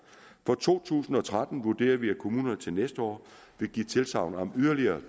for to tusind og tretten vurderer vi at kommunerne til næste år vil give tilsagn om ydeligere